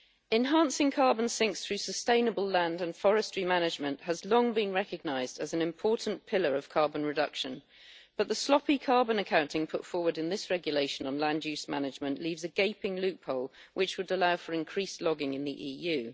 Enhancing carbon sinks through sustainable land and forestry management has long been recognised as an important pillar of carbon reduction, but the sloppy carbon accounting put forward in this regulation on land use management leaves a gaping loophole which would allow for increased logging in the EU.